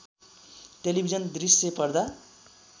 television दृश्य पर्दा